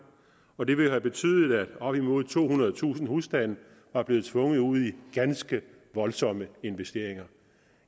og det ville have betydet at op imod tohundredetusind husstande var blevet tvunget ud i ganske voldsomme investeringer